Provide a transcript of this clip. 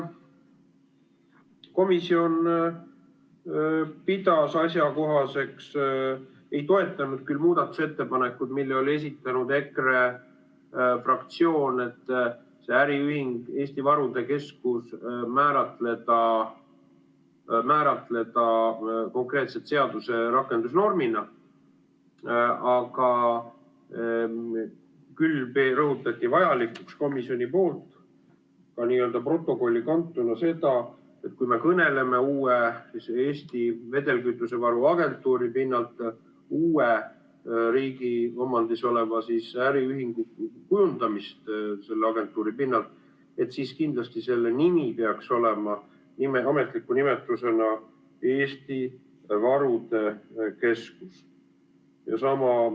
Komisjon ei toetanud küll muudatusettepanekuid, mille oli esitanud EKRE fraktsioon, et see äriühing Eesti Varude Keskus määratleda konkreetse seaduse rakendusnormina, kuid rõhutati ja peeti vajalikuks ja kanti ka komisjoni protokolli, et kui me kõneleme Eesti Vedelkütusevaru Agentuuri pinnalt uue riigi omandis oleva äriühingu kujundamisest, siis kindlasti selle nimi peaks olema ametliku nimetusena Eesti Varude Keskus.